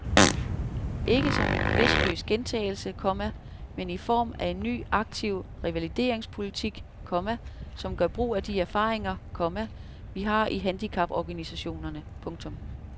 Ikke som en bevidstløs gentagelse, komma men i form af en ny aktiv revalideringspolitik, komma som gør brug af de erfaringer, komma vi har i handicaporganisationerne. punktum